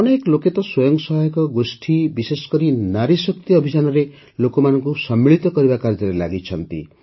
ଅନେକ ଲୋକେ ତ ସ୍ୱୟଂ ସହାୟତା ଗୋଷ୍ଠୀ ବିଶେଷକରି ନାରୀ ଶକ୍ତି ଅଭିଯାନରେ ଲୋକମାନଙ୍କୁ ସମ୍ମିଳିତ କରିବା କାର୍ଯ୍ୟରେ ଲାଗିଛନ୍ତି